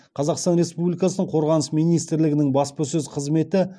қазақстан республикасының қорғаныс министрлігінің баспасөз қызметі